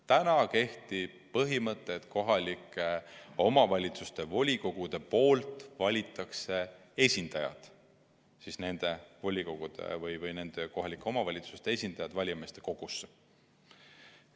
Täna kehtib põhimõte, et kohalike omavalitsuste volikogud valivad esindajad – nende volikogude või nende kohalike omavalitsuste esindajad – valijameeste kogusse.